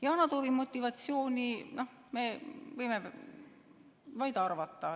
Yana Toomi motivatsiooni me võime vaid arvata.